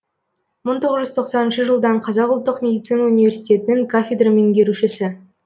мың тоғыз жүз тоқсаныншы жылдан қазақ ұлттық медицина университетінің кафедра меңгерушісі